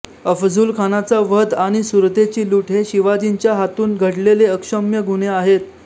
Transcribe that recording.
अफझुलखानाचा वध आणि सुरतेची लूट हे शिवाजीच्या हातून घडलेले अक्षम्य गुन्हे आहेत